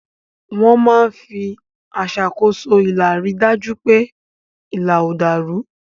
Wọ́n máa ń fi aṣàkóso ilà rí i dájú pé ilà ò dàrú.